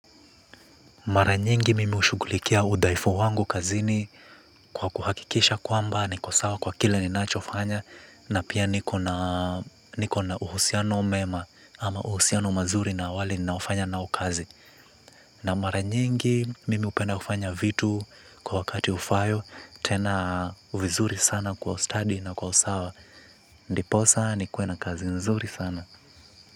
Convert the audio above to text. Mara nyingi mimi hushughulikia udhaifu wangu kazini kwa kuhakikisha kwamba niko sawa kwa kile ninacho fanya na pia niko na niko na uhusiano mema ama uhusiano mazuri na wale ninao fanya nao kazi. Na mara nyingi mimi hupenda kufanya vitu kwa wakati ufahayo tena vizuri sana kwa ustadi na kwa usawa. Ndiposa nikuwe na kazi nzuri sana.